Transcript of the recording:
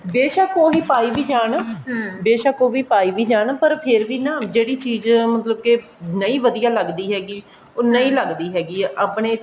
ਬੇਸ਼ਕ ਉਹ ਵੀ ਪਾਈ ਵੀ ਜਾਨ ਬੇਸ਼ਕ ਉਹ ਵੀ ਪਾਈ ਵੀ ਜਾਨ ਪਰ ਫੇਰ ਵੀ ਨਾ ਜਿਹੜੀ ਚੀਜ਼ ਮਤਲਬ ਕੇ ਨਹੀਂ ਵਧੀਆ ਲੱਗਦੀ ਹੈਗੀ ਉਹ ਨਹੀਂ ਲੱਗਦੀ ਹੈਗੀ ਆਪਣੇ